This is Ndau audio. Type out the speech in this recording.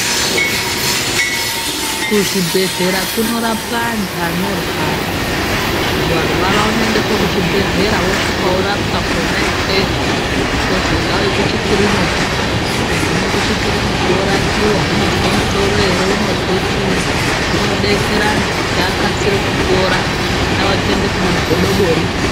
Kuzvibhedhlera kunorapwa antu anorwara ,varwara unoendeswa kuzvibhedhlera vosvika vorapwa kona ikweyo kozi ngaauye kuchikiriniki kugume kuchikiriniki vorapiwa , unozwe musoro here unozwe chii zvinodetsera antu kuti akasire kupora , haiwa kuende kuna godobori .